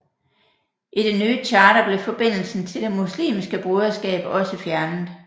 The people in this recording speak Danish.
I det nye charter blev forbindelsen til Det muslimske broderskab også fjernet